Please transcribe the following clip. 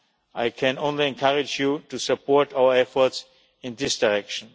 I can only encourage you to support our efforts in this direction.